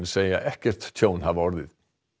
segja ekkert tjón hafa orðið